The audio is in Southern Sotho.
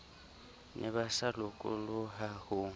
ne ba sa lokoloha ho